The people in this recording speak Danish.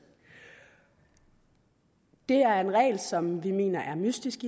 det er en regel som vi mener er mystisk